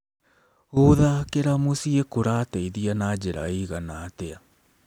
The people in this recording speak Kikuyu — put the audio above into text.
Gũthakĩra mũciĩ kũrateithia na njĩra ĩigana atĩa?